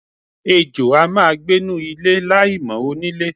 Ejò a máa gbenu ilé láìmò̩ onílé.